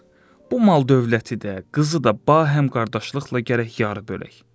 Bu mal-dövləti də, qızı da bahəm qardaşlıqla gərək yarı bölək.